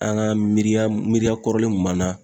An ga miiriya miiriya kɔrɔlen kun b'an na